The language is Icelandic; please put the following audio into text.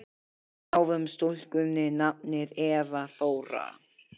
Við gáfum stúlkunni nafnið Eva Þóra.